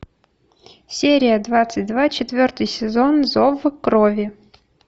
серия двадцать два четвертый сезон зов крови